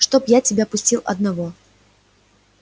чтоб я тебя пустил одного